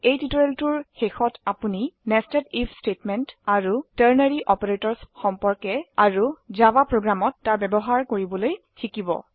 এই টিউটোৰিয়ালটিৰ শেষত আপোনি nested আইএফ স্টেটমেন্ট আৰু টাৰ্নাৰী অপাৰেটৰ্ছ সম্পৰ্কেআৰু জাভা প্ৰোগ্ৰামত তাৰ ব্যবহাৰ কৰিবলৈ শিকিব